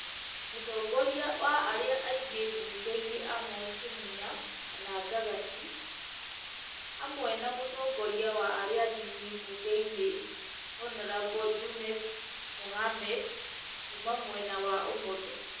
Mũtongoria wa arĩa aingĩ mbunge-inĩ Amos Kĩmunya (gagati) hamwe na mũtongoria wa arĩa anini mbunge-inĩ Hon Junet Mohammed (kuuma mwena wa ũmotho)